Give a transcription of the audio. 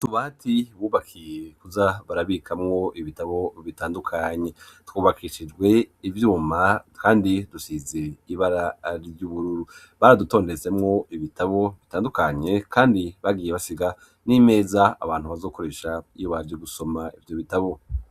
Utubati bubakiye kuza barabikamwo ibitabo bitandukanye twubakishijwe ibyuma kandi dusize ibara ry'ubururu baradutondetsemwo ibitabo bitandukanye kandi bagiye basiga n'imeza abantu bazokoresha ibara ryo gusoma ibyo bitabo.